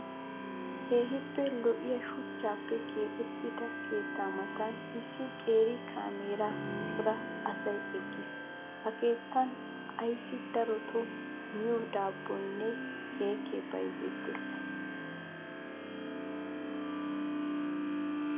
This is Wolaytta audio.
Keehippe lo'iyaa shuchchaappe keexettida keettaa matan issi qeeri kaameera cora asayi eqqis. Ha keettan asayi darotoo miyoo daabboyinne keekkee bayizettes.